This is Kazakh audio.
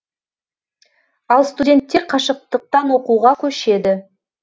ал студенттер қашықтықтан оқуға көшеді